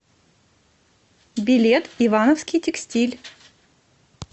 билет ивановский текстиль